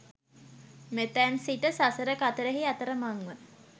මෙතැන් සිට, සසර කතරෙහි අතරමංව